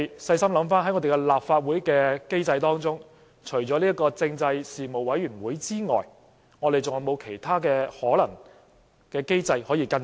細心想想，在立法會機制當中，除了政制事務委員會之外，我們還有沒有其他機制可以跟進？